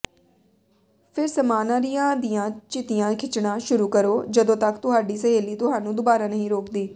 ਫਿਰ ਸਮਾਨਾਰੀਆਂ ਦੀਆਂ ਚਿਤੀਆਂ ਖਿੱਚਣਾ ਸ਼ੁਰੂ ਕਰੋ ਜਦੋਂ ਤੱਕ ਤੁਹਾਡੀ ਸਹੇਲੀ ਤੁਹਾਨੂੰ ਦੁਬਾਰਾ ਨਹੀਂ ਰੋਕਦੀ